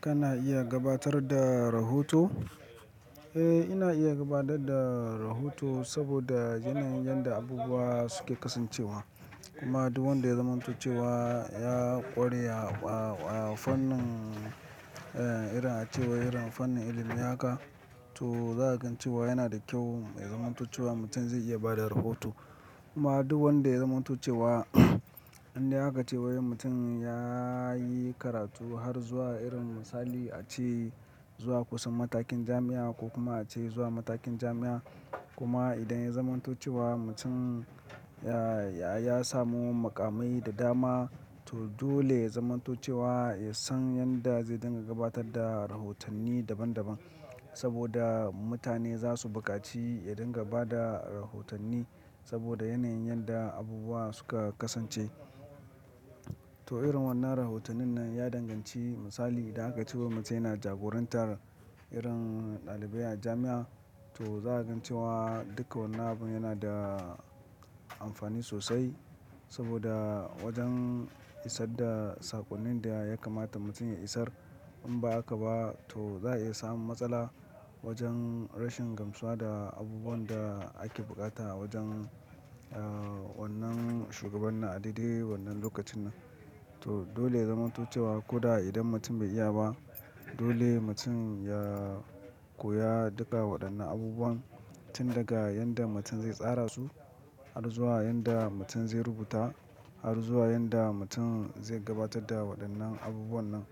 Kana iya gabatar da rahoto? Eh, ina iya gabatar da rahoto saboda yanayin yadda abubuwa suke kasancewa. Kuma duk wanda ya zamanto cewa ya ƙware a fannin, irin ace wai fannin ilimi haka. To za ka gan ce wa yana da kyau, ya zamanto ce wa mutum zai iya bada rahoto. Kuma duk wanda ya zamantoce wa, in dai aka ce wai mutum ya yi karatu har zuwa irin misali ace zuwa kusan matakin jami'a ko kuma a ce zuwa matakin jami'a. Kuma idan ya zamantoce wa mutum ya samu muƙamai da dama, to dole ya zamanto ce wa ya san yanda zai dinga gabatar da rahotanni daban daban. Saboda mutane za su buƙaci ya dinga ba da rahotanni saboda yanayin yadda abubuwa suka kasance. To irin wannan rahotannin nan ya danganci misali idan aka ce wai mutum yana jagorantar irin ɗalibai a jami'a. To za ka gan ce wa duka wannan abun yana da amfani sosai saboda wajen isar da saƙonnin da ya kamata mutum ya isar. In ba haka ba to za a iya samun matsala wajen rashin gamsuwa da abubuwan da ake buƙata a wajen wannan shugaban na a daidai wannan lokacin nan. To dole ya zamanto ce wa ko da idan mutum bai iya ba, dole mutum ya koya duka waɗannan abubuwan tun daga yadda mutum zai tsara su har zuwa yadda mutum zai rubuta har zuwa yadda mutum zai gabatar da waɗannan abubuwan nan